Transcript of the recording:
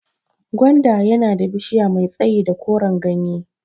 Gwanda yana da bishiya mai tsayi da koran gyanye